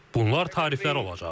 Bunlar tariflər olacaq.